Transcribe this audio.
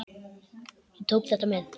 Ég tók þetta með.